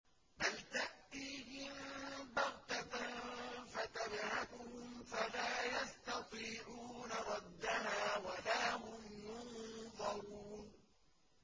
بَلْ تَأْتِيهِم بَغْتَةً فَتَبْهَتُهُمْ فَلَا يَسْتَطِيعُونَ رَدَّهَا وَلَا هُمْ يُنظَرُونَ